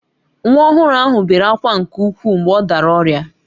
Nwa ọhụrụ ahụ bere ákwá nke ukwuu mgbe ọ dara ọrịa